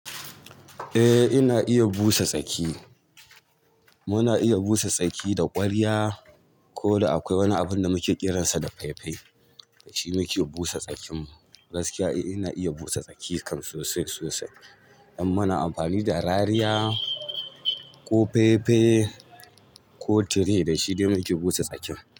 Eh ina iya busa tsaki. Muna iya busa tsaki da ƙwarya ko da akwai wani abin da muke kiransa da fai fai da shi muke busa tsakin mu. Gaskiya eh ina iya busa tsaki kan sosai sosai. An mana amfani da rariya ko fai fai ko tire dashi dai muke busa tsakin.